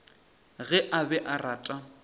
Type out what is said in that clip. ge a be a rata